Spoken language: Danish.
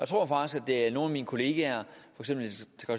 tror faktisk der er nogle af mine kollegaer